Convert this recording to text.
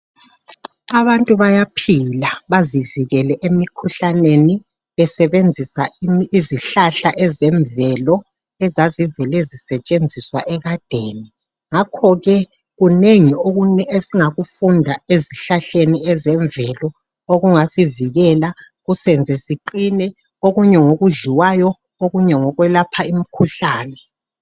Abantu bayaphila bazivikele emikhuhlaneni besebenzisa izihlahla ezemvelo ebe zisetsenziswa ekadeni ngakho ke kunengi esingakufunda ezihlahleni ezemvelo okungasivikela kusenze siqine okunye ngokudliwayo okunye ngokwelapha imikhuhlane.